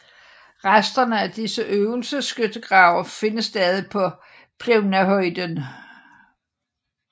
Resterne af disse øvelsesskyttegrave findes stadig på Plevnahöjden